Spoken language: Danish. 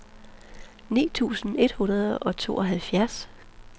ni tusind et hundrede og tooghalvtreds